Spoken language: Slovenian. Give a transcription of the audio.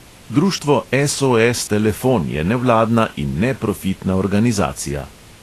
Društvo SOS telefon je nevladna in neprofitna organizacija.